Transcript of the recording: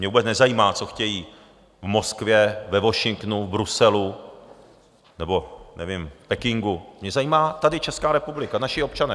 Mě vůbec nezajímá, co chtějí v Moskvě, ve Washingtonu, v Bruselu nebo nevím - v Pekingu, mě zajímá tady Česká republika, naši občané.